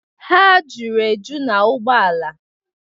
Ha juru eju na ụgbọala.